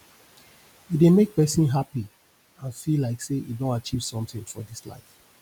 e dey make persin happy and feel like say e don achieve something for this life